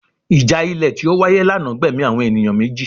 Ìjà ilẹ̀ tí ó wáyé lánàá gbẹ̀mí àwọn ènìyàn méjì